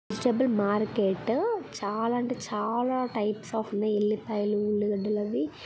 Vegetable market చాలా అంటే చాలా టైప్ స్ ఆఫ్ ఉన్నాయి. ఎల్లిపాయలు ఉల్లిగడ్డలు అవి .